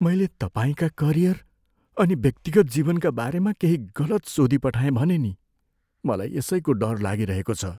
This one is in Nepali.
मैले तपाईँका करियर अनि व्यक्तिगत जीवनका बारेमा केही गलत सोधिपठाएँ भने नि? मलाई यसैको डर लागिरहेको छ।